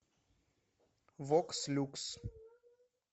вокс люкс